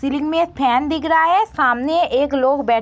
ceiling में ये fan दिख रहा है सामने एक लोग बै --